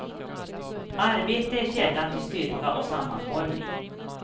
Arbete är källan till styrka och sammanhållning.